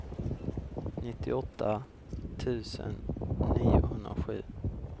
nittioåtta tusen niohundrasju